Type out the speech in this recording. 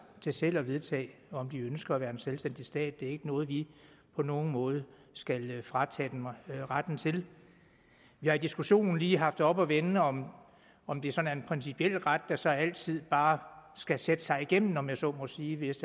til selv at vedtage om de ønsker at være en selvstændig stat det er ikke noget vi på nogen måde skal fratage dem retten til vi har i diskussionen lige haft oppe at vende om om det sådan er en principiel ret der så altid bare skal sætte sig igennem om jeg så må sige hvis